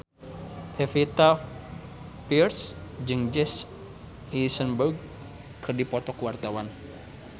Pevita Pearce jeung Jesse Eisenberg keur dipoto ku wartawan